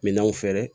Minɛnw fɛrɛ